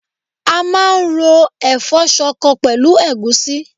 A máa ń ro ẹ̀fọ́ ṣọkọ pẹ̀lú ẹ̀gúsí